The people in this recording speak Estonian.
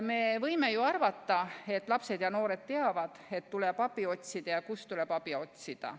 Me võime ju arvata, et lapsed ja noored teavad, et tuleb abi otsida ja kust tuleb abi otsida.